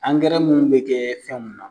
Angɛrɛ munnu bɛ kɛ fɛn mun na.